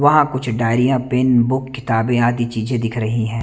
वह कुछ diary pen book किताबें आदि चीजें दिख रही हैं।